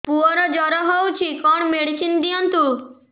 ପୁଅର ଜର ହଉଛି କଣ ମେଡିସିନ ଦିଅନ୍ତୁ